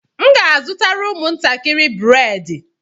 M ga-azụtara ụmụntakịrị bredị